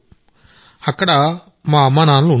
అక్కడ మా అమ్మానాన్నలు ఉండేవారు